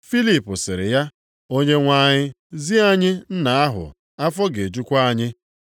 Filip sịrị ya, “Onyenwe anyị, zi anyị Nna ahụ, afọ ga-ejukwa anyị.”